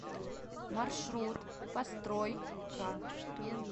маршрут построй ка